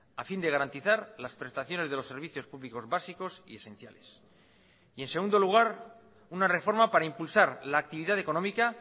a fin de garantizar las prestaciones de los servicios públicos básicos y esenciales y en segundo lugar una reforma para impulsar la actividad económica